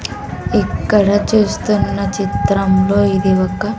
ఇక్కడ చూస్తున్న చిత్రంలో ఇది ఒక.